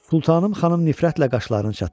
Sultanım xanım nifrətlə qaşlarını çatdı.